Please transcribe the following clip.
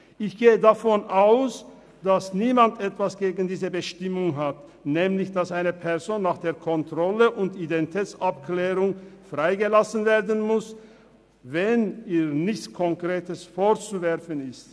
» Ich gehe davon aus, dass niemand etwas gegen die Bestimmung hat, dass eine Person nach der Kontrolle und der Identitätsabklärung freigelassen werden muss, wenn ihr nichts Konkretes vorzuwerfen ist.